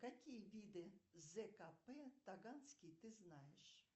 какие виды зкп таганский ты знаешь